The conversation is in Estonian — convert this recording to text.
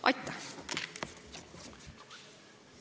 Aitäh!